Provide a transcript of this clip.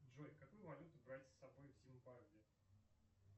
джой какую валюту брать с собой в зимбабве